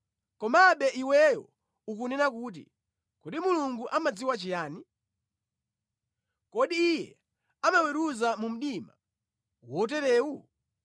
Komabe iweyo ukunena kuti, ‘Kodi Mulungu amadziwa chiyani? Kodi Iye amaweruza mu mdima woterewu?